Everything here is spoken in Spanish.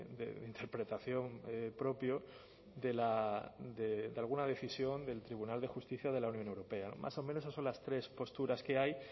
de interpretación propio de la de alguna decisión del tribunal de justicia de la unión europea más o menos o las tres posturas que hay